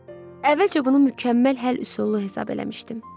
Əvvəlcə bunu mükəmməl həll üsulu hesab eləmişdim.